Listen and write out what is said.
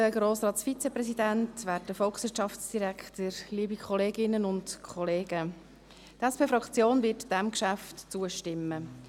Die SP-JUSO-PSA-Fraktion wird diesem Geschäft zustimmen.